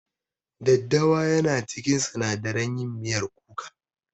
Daddawa yana cikin sinadaran yin miyar kuka.